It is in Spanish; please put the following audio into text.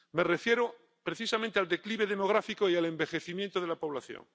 Me refiero, precisamente, al declive demográfico y al envejecimiento de la población.